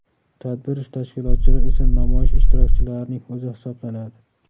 Tadbir tashkilotchilar esa namoyish ishtirokchilarining o‘zi hisoblanadi.